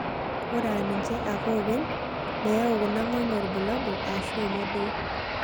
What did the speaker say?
Ore aa ninche ake oopeny, mayau kuna ng'onyo ilbulabul aashu emodoo.